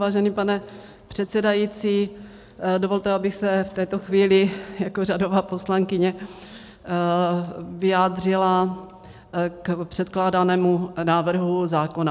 Vážený pane předsedající, dovolte, abych se v této chvíli jako řadová poslankyně vyjádřila k předkládanému návrhu zákona.